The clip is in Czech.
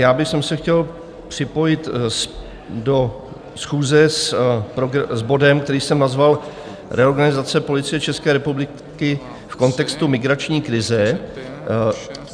Já bych se chtěl připojit do schůze s bodem, který jsem nazval Reorganizace Policie České republiky v kontextu migrační krize.